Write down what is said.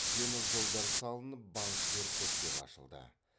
темір жолдар салынып банктер көптеп ашылды